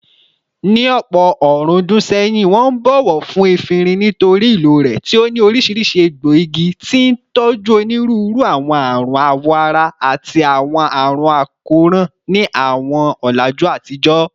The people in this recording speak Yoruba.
Ní ọ̀pọ̀ ọ̀rúndún sẹ́yìn, wọ́n ń bọ̀wọ̀ fún efinrin nítorí ìlò rẹ̀ tí ó ní oríṣiríṣi egbòogi, tí ń tọ́jú onírúurú àwọn àrùn awọ ara àti àwọn àrùn àkóràn ní àwọn ọ̀làjú àtijọ́.